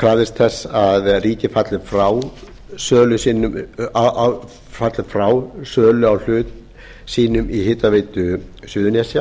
krafðist þess að ríkið falli frá sölu á hlut sínum í hitaveitu suðurnesja